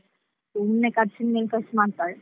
ಸುಮ್ನೆ ಖರ್ಚಿನ ಮೇಲೆ ಖರ್ಚು ಮಾಡ್ತಾಳೆ.